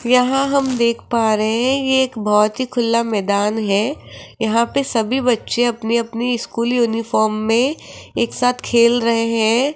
यहां हम देख पा रहे है ये एक बहुत ही खुला मैदान है यहाँ पे सभी बच्चे अपने अपने स्कूल यूनिफॉर्म में एक साथ खेल रहे हैं।